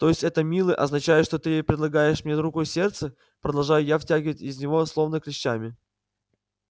то есть это милый означает что ты предлагаешь мне руку и сердце продолжаю я вытягивать из него словно клещами